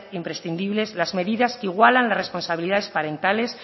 imprescindibles las medidas que igualan las responsabilidades parentales